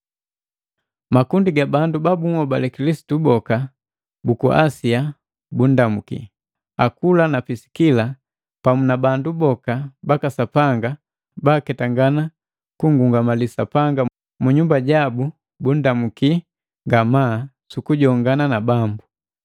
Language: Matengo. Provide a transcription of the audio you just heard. Makundi ga bandu ba bunhobale Kilisitu boka buku Asia bundamuu. Akula na Pisikila pamu na bandu boka baka Sapanga baketangana kungungamali Sapanga mu nyumba jabu bundamuki ngamaa sukujongana na Bambu.